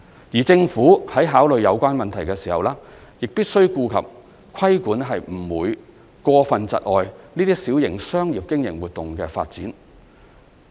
而政府在考慮有關問題時，亦必須顧及規管不會過分窒礙這些小型商業經營活動的發展。